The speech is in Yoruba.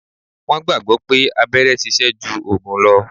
Wọn gbagbọ pé abẹ́rẹ́ sise ju ògùn lo